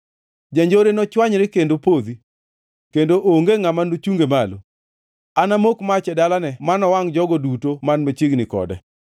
Janjore nochwanyre kendo podhi kendo onge ngʼama nochunge malo; anamok mach e dalane manowangʼ jogo duto man machiegni kode.”